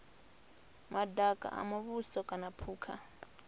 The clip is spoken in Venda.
madaka a muvhuso kana phukha